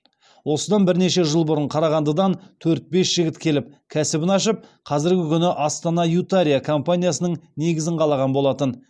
осыдан бірнеше жыл бұрын қарағандыдан төрт бес жігіт келіп кәсібін ашып қазіргі күні астана ютария компаниясының негізін қалаған болатын